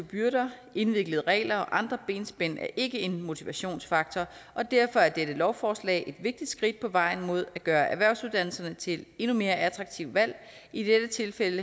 byrder indviklede regler og andre benspænd er ikke en motivationsfaktor og derfor er dette lovforslag et vigtigt skridt på vejen mod at gøre erhvervsuddannelserne til et endnu mere attraktivt valg i dette tilfælde